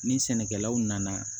Ni sɛnɛkɛlaw nana